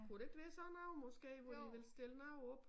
Kunne det ikke være sådan noget måske hvor de ville stille noget op